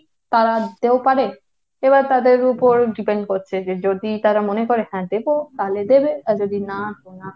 তারা দিতেও পারে। এবার তাদের ওপর depend করছে যে যদি তারা মনে করে হ্যাঁ দেব, তালে দেবে। আর যদি না, তো না।